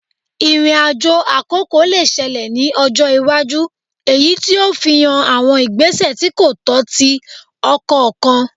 Irin-ajo akoko le ṣẹlẹ ni ọjọ iwaju eyiti o fihan awọn igbesẹ ti ko tọ ti ọkọ kan